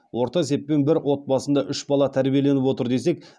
орта сеппен бір отбасында үш бала тәрбиеленіп отыр десек